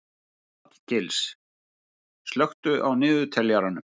Hallgils, slökktu á niðurteljaranum.